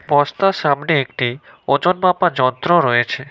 বস্তার সামনে একটি ওজন মাপার যন্ত্র রয়েছে।